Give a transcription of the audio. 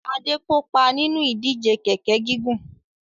Adé kópa nínú ìdíje kẹ̀ẹ̀kẹ́ gígùn.